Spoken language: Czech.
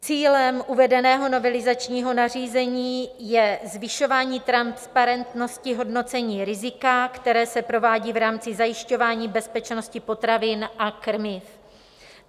Cílem uvedeného novelizačního nařízení je zvyšování transparentnosti hodnocení rizika, které se provádí v rámci zajišťování bezpečnosti potravin a krmiv.